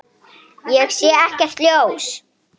Ég sé ekkert ljós.